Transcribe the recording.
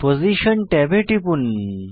position ট্যাবে টিপুন